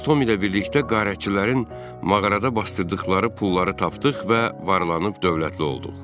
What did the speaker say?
Biz Tom ilə birlikdə quldurların mağarada basdırdıqları pulları tapdıq və varlanıb dövlətli olduq.